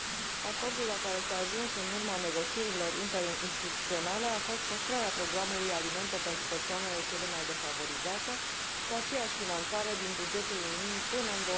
Acordul la care s a ajuns în urma negocierilor interinstituționale a fost păstrarea programului Alimente pentru persoanele cele mai defavorizate, cu aceeași finanțare din bugetul Uniunii până în